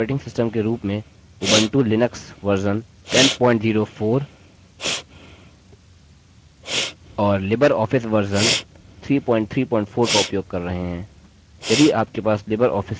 यहाँ हम अपने ऑपरेटिंग सिस्टम के रूप में उबंटु लिनक्स version 1004 और लिबरऑफिस version 334 का उपयोग कर रहे हैं